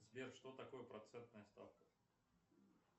сбер что такое процентная ставка